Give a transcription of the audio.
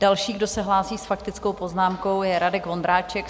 Další, kdo se hlásí s faktickou poznámkou, je Radek Vondráček.